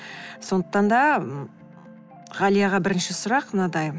сондықтан да м ғалияға бірінші сұрақ мынадай